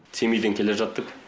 семейден келе жаттық